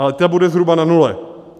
Ale ta bude zhruba na nule.